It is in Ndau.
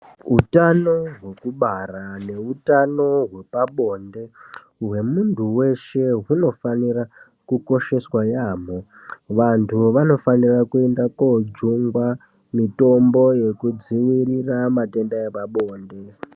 Utano hwekubara neutano hwepabonde hwemunhtu weshe hunofanira kukosheswa yaambho. Vanthu vanofanira kuenda koojungwa mitombo yekudzivirira matenda epabonde.